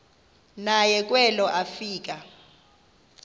naye kwelo afika